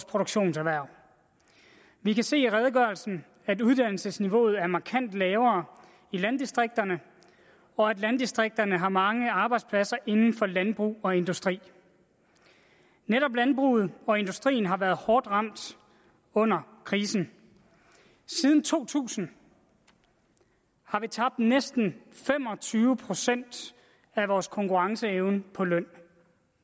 produktionserhverv vi kan se i redegørelsen at uddannelsesniveauet er markant lavere i landdistrikterne og at landdistrikterne har mange arbejdspladser inden for landbrug og industri netop landbruget og industrien har været hårdt ramt under krisen siden to tusind har vi tabt næsten fem og tyve procent af vores konkurrenceevne på løn